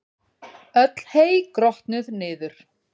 Öll hey grotnuð niður.